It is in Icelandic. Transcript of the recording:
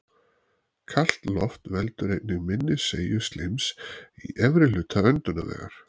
Kalt loft veldur einnig minni seigju slíms í efri hluta öndunarvegar.